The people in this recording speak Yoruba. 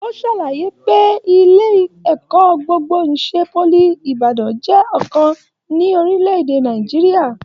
O ṣàlàyé pé ilé ẹ̀kọ́ gbogbo n'isè poly Ibadan jẹ ọkan ní orílẹ̀-èdè Nàìjíríà.